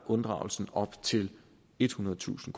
af unddragelsen op til ethundredetusind